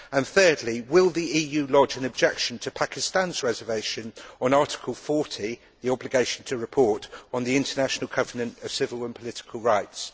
Thirdly, will the EU lodge an objection to Pakistan's reservation on Article 40 the obligation to report of the International Covenant of Civil and Political Rights?